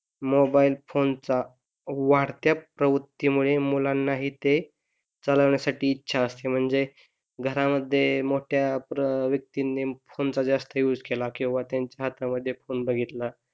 mobile phone चा वाढत्या प्रवृत्ती मुळे मुलांना हि ते चालवण्यासाठी ते इच्छा असते घरामध्ये मोठ्या व्यक्ती नि फोन चा जास्त यूज केला किंवा त्याच्या हातामध्ये फोन बघितला,